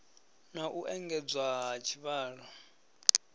na u engedzwa ha tshivhalo